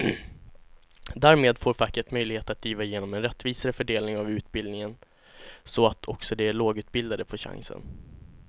Därmed får facket möjlighet att driva igenom en rättvisare fördelning av utbildningen så att också de lågutbildade får chansen.